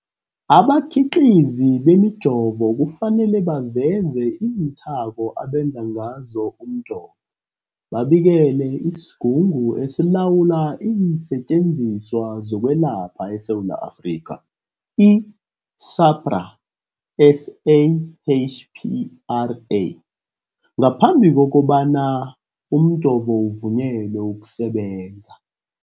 Abakhiqizi bemijovo kufanele baveze iinthako abenze ngazo umjovo, babikele isiGungu esiLawula iinSetjenziswa zokweLapha eSewula Afrika, i-SAHPRA, SAHPRA, ngaphambi kobana umjovo uvunyelwe ukusebenza.